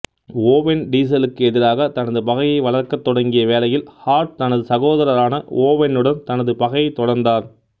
oven டீசலுக்கு எதிராக தனது பகையை வளர்க்கத் தொடங்கிய வேளையில் ஹார்ட் தனது சகோதரரான ஓவென்னுடன் தனது பகையைத் தொடர்ந்தார்